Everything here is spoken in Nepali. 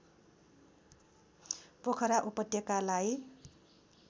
पोखरा उपत्यकालाई